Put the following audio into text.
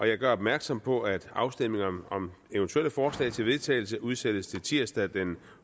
jeg gør opmærksom på at afstemning om om eventuelle forslag til vedtagelse udsættes til tirsdag den